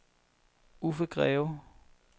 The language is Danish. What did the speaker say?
Uffe Greve